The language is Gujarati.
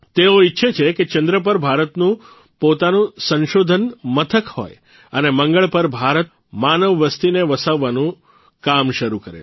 તેઓ ઇચ્છે છે કે ચંદ્ર પર ભારતનું પોતાનું સંશોધન મથક હોય અને મંગળ પર ભારત માનવ વસ્તીને વસાવવાનું કામ શરૂ કરે